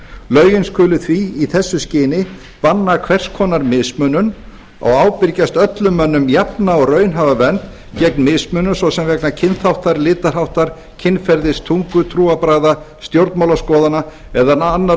lögin skulu því í þessu skyni banna hvers konar mismunun og ábyrgjast öllum mönnum jafna og raunhæfa vernd gegn mismunun svo sem vegna kynþáttar litarháttar kynferðis tungu trúarbragða stjórnmálaskoðana eða annarra